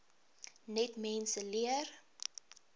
net mense leer